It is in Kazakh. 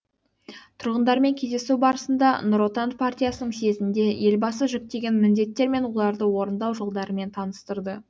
тұрғындармен кездесу барысында нұр отан партиясының съезінде елбасы жүктеген міндеттер мен оларды орындау жолдарымен таныстырды